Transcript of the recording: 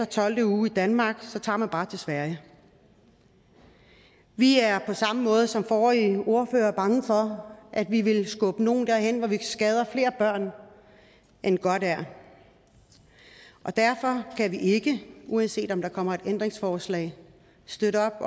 tolvte uge i danmark men så tager man bare til sverige vi er på samme måde som forrige ordfører bange for at vi vil skubbe nogle derhen hvor vi skader flere børn end godt er og derfor kan vi ikke uanset om der kommer et ændringsforslag støtte